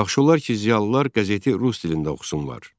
"Yaxşı olar ki, ziyalılar qəzeti rus dilində oxusunlar."